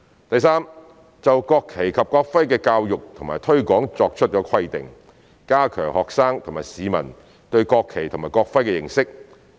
第三，就國旗及國徽的教育和推廣作出規定，加強學生及市民對國旗及國徽的認識。